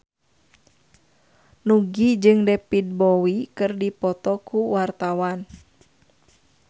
Nugie jeung David Bowie keur dipoto ku wartawan